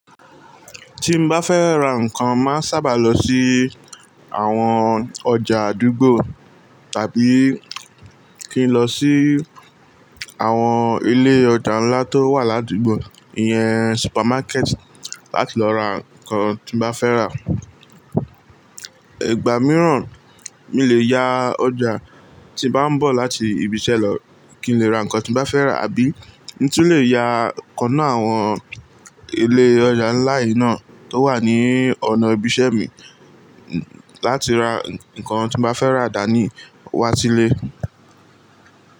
Tí mo bá fẹ́ ra nǹkan, màá sábà lọ sí àwọn ọjà àdúgbò tàbí kí n lọ sí àwọn ilé ọjà ńlá tó wà ládùgbò, ìyẹn supermarket láti lọ ra nǹkan tí mo bá fẹ́ rà. Ìgbà mìíràn, mí lè ya ọjà tí mo bá ń bọ̀ láti ibiṣẹ́ lọ kí n lè ra nǹkan tí mo bá fẹ́ rà àbí mi tún lè ya kọná àwọn ilé ọjà ńlá yìí náà tó wà ní ọ̀nà ibiṣẹ́ mi láti ra nǹkan tí mo bá fẹ́ rà dání wá sílé.